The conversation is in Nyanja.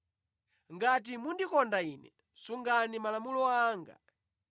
“Ngati mundikonda Ine, sungani malamulo anga.